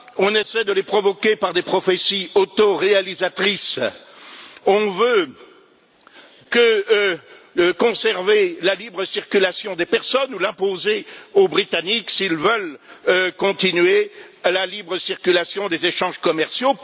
On essaie de les provoquer par des prophéties autoréalisatrices. On veut conserver la libre circulation des personnes, l'imposer aux Britanniques s'ils veulent maintenir la libre circulation des échanges commerciaux.